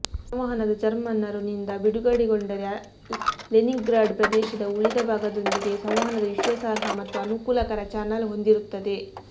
ಸಂವಹನದ ಜರ್ಮನ್ನರು ನಿಂದ ಬಿಡುಗಡೆಗೊಂಡರೆ ಲೆನಿನ್ಗ್ರಾಡ್ ಪ್ರದೇಶದ ಉಳಿದ ಭಾಗದೊಂದಿಗೆ ಸಂವಹನದ ವಿಶ್ವಾಸಾರ್ಹ ಮತ್ತು ಅನುಕೂಲಕರ ಚಾನಲ್ ಹೊಂದಿರುತ್ತದೆ